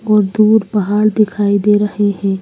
और दूर पहाड़ दिखाई दे रहे हैं।